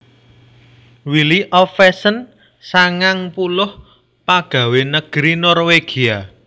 Willy Ovesen sangang puluh pagawé negeri Norwégia